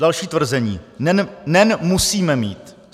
Další tvrzení: NEN musíme mít.